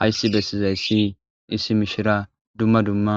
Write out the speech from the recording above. Hayisi bessizayssi issi mishira dumma dumma